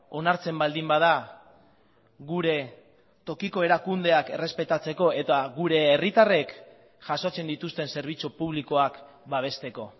onartzen baldin bada gure tokiko erakundeak errespetatzeko eta gure herritarrek jasotzen dituzten zerbitzu publikoak babesteko